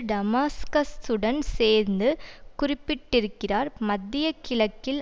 டமாஸ்கஸ்சுடன் சேர்ந்து குறிப்பிட்டிருக்கிறார் மத்திய கிழக்கில்